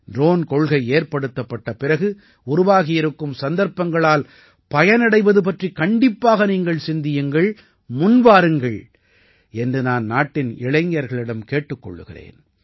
drone கொள்கை ஏற்படுத்தப்பட்ட பிறகு உருவாகியிருக்கும் சந்தர்ப்பங்களால் பயனடைவது பற்றிக் கண்டிப்பாக நீங்கள் சிந்தியுங்கள் முன்வாருங்கள் என்று நான் நாட்டின் இளைஞர்களிடம் கேட்டுக் கொள்கிறேன்